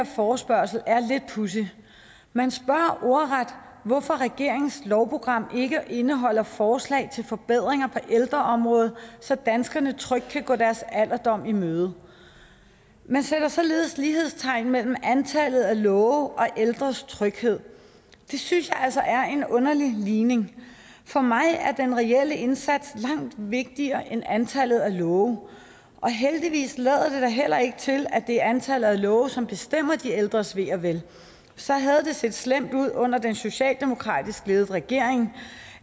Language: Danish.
forespørgsel er lidt pudsigt man spørger ordret hvorfor regeringens lovprogram ikke indeholder forslag til forbedringer på ældreområdet så danskerne trygt kan gå deres alderdom i møde man sætter således lighedstegn mellem antallet af love og ældres tryghed det synes jeg altså er en underlig ligning for mig er den reelle indsats langt vigtigere end antallet af love heldigvis lader det da heller ikke til at det er antallet af love som bestemmer de ældres ve og vel så havde det set slemt ud under den socialdemokratisk ledet regering